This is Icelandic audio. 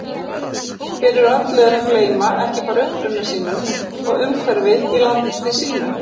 Fyrir öllu er að gleyma bara ekki uppruna sínum og umhverfi í landi sínu.